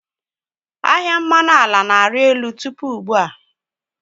Ahịa mmanụ ala na-arị elu tupu ugbu a.